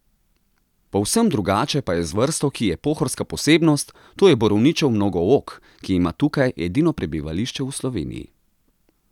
Povsem drugače pa je z vrsto, ki je pohorska posebnost, to je borovničev mnogook, ki ima tukaj edino prebivališče v Sloveniji.